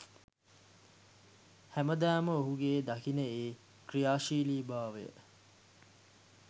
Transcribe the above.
හැමදාම ඔහුගේ දකින ඒ ක්‍රියාශීලී බාවය